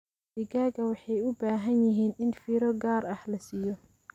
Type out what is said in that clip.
Digaagga waxay u baahan yihiin in fiiro gaar ah la siiyo.